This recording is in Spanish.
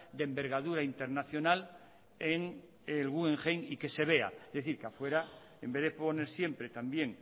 de envergadura internacional en el guggenheim y que se vea es decir que afuera en vez de poner siempre también